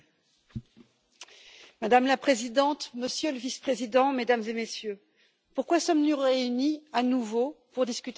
Madame la Présidente, Monsieur le Vice Président, Mesdames et Messieurs, pourquoi sommes nous réunis à nouveau pour discuter de la convention d'Istanbul?